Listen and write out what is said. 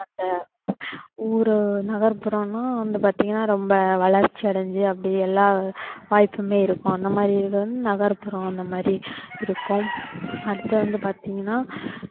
அந்த ஊரு நகர்புறம்ன்னா வந்து பாத்தீங்கன்னா ரொம்ப வளர்ச்சியடைஞ்சு அப்படி எல்லா வாய்ப்புமே இருக்கும் அந்த மாதிரி இது வந்து நகர்புறம் அந்த மாதிரி இருக்கும் அடுத்து வந்து பாத்தீங்கன்னா அஹ்